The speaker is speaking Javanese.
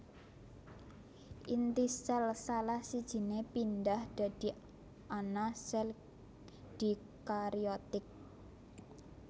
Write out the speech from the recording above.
Inti sél salah sijine pindhah dadi ana sel dikariotik